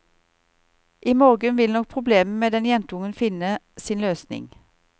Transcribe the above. I morgen ville nok problemet med den jentungen finne sin løsning.